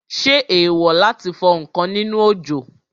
Ṣé èèwò láti fọ ǹkan nínú òjò?